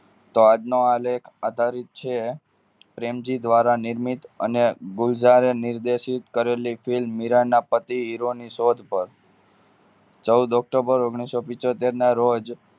તો આ આજનો આ લેખ આધારિત છે પ્રેમજી દ્વારા નિર્મિત અને ગુર્જારી નિર્દેશિત કરેલા મીરા ના પતિ હીરો ની શોધ પર ચૌદ ઓક્ટોબર ઓગણીસો પીન્નાચોતેરના રોજ